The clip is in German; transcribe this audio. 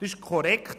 Das ist richtig;